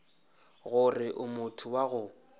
gore o motho wa go